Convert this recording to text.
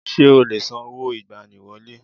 Ṣé o lè san owó ìgbani wọlé?